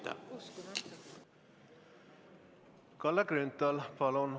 Kalle Grünthal, palun!